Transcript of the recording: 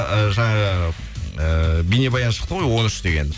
і жаңағы і бейнебаян шықты ғой он үш деген